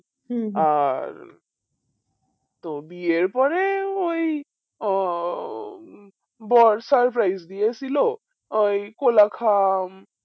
আর তো বিয়ের পরে ওই আহ বিয়ে ছিল ওই কোলাখাম